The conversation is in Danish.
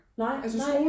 Nej nej